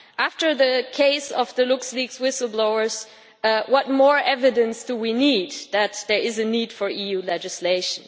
After the case of the LuxLeaks whistle blowers, what more evidence do we need that there is a need for EU legislation?